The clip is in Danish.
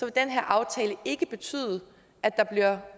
den her aftale ikke betyde at der